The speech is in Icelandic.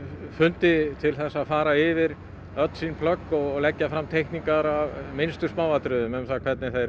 fundi til þess að fara yfir öll sín plögg og leggja fram teikningar af minnstu smáatriðum um hvernig þeir